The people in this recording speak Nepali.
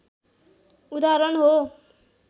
उदाहरण हो